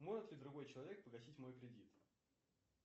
может ли другой человек погасить мой кредит